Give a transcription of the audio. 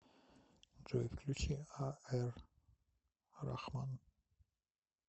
джой включи а эр рахман